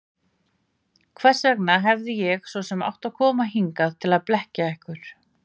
Hvers vegna hefði ég svo sem átt að koma hingað til að blekkja ykkur?